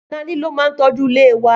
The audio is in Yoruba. Naní ló ma ń tọ́jú ilé wa a.